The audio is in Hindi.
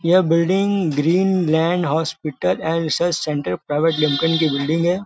यह building green land hospital and research centre private limited की बिल्डिंग है।